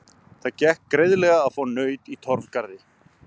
Það gekk greiðlega að fá naut í Torfgarði.